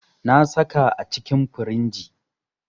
Na saka a cikin firinji.